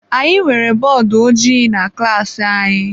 Anyị nwere bọọdụ ojii na klaasị anyị.